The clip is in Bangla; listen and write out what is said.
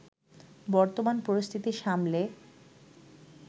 বর্তমান পরিস্থিতি সামলে